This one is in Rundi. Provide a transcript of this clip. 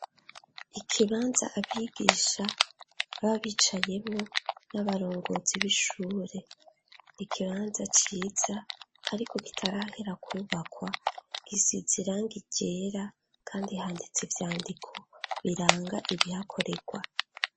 Ikibanza abigisha, baba bicayemwo, n'abarongozi b'ishure. Ikibanza ciza, ariko kitarahera kwubakwa. Gisize irangi ryera, kandi handitse ivyandiko biranga ibihakorerwa.